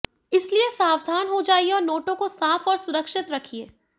इसलिए सावधान हो जाइए और नोटों को साफ और सुरक्षित रखिए